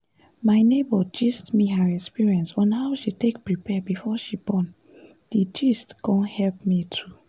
my neighbor gist me her experience on how she take prepare before she born d gist con help me too